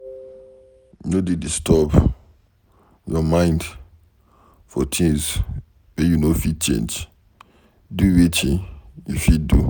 No dey disturb your mind for things wey you no fit change, do Wetin you fit do.